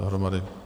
Dohromady.